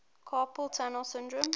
carpal tunnel syndrome